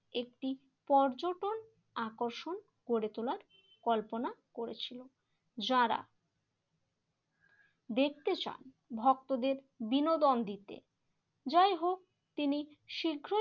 একটি পর্যটন আকর্ষণ গড়ে তোলার কল্পনা করেছিল। যারা দেখতে চান ভক্তদের বিনোদন দিতে যাই হোক তিনি শীঘ্র